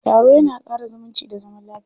Taro ya na ƙara zumunci da zaman lafiya.